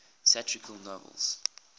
satirical novels